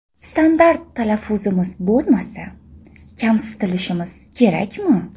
Standart talaffuzimiz bo‘lmasa, kamsitilishimiz kerakmi?